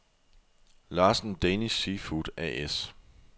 Larsen Danish Seafood A/S